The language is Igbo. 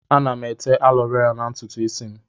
Ana m ete alọvera na ntutu ísí m.